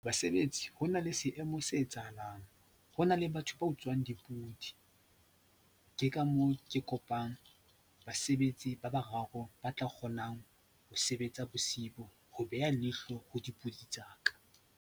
Basebetsi, ho na le seemo se etsahalang. Ho na le batho ba utswang dipudi ke ka moo ke kopang basebetsi ba bararo ba tla kgonang ho sebetsa bosiu ho beha leihlo ho dipudi tsa ka.